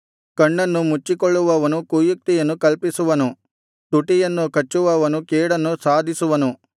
ಕಣ್ಣನ್ನು ಮುಚ್ಚಿಕೊಳ್ಳುವವನು ಕುಯುಕ್ತಿಯನ್ನು ಕಲ್ಪಿಸುವನು ತುಟಿಯನ್ನು ಕಚ್ಚುವವನು ಕೇಡನ್ನು ಸಾಧಿಸುವನು